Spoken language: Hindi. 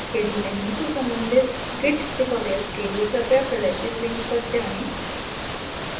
यदि नहीं तो सम्बंधित git tutorials के लिए कृपया प्रदर्शित link पर जाएँ